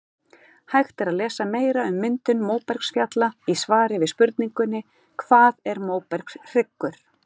Hægt er að lesa meira um myndun móbergsfjalla í svari við spurningunni Hvað er móbergshryggur?